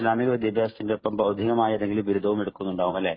ഇസ്ലാമിക വിദ്യാഭ്യാസത്തിനൊപ്പം ബൗദ്ധികമായ ഏതെങ്കിലും ബിരുദവും എടുക്കുന്നുണ്ടാവും അല്ലേ.